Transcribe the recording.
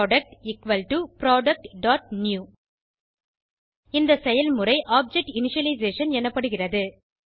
product productநியூ இந்த செயல்முறை ஆப்ஜெக்ட் இனிஷியலைசேஷன் எனப்படுகிறது